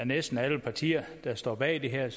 næsten er alle partier der står bag det her